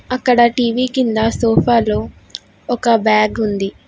అక్కడ టీ_వీ కింద సోఫాలో ఒక బ్యాగ్ ఉంది.